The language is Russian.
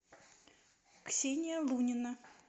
ксения лунина